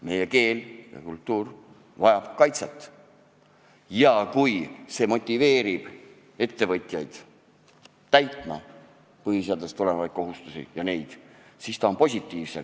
Eesti keel ja kultuur vajab kaitset ja kui seadus motiveerib ettevõtjaid täitma põhiseadusest tulenevaid kohustusi, siis on selle sisu positiivne.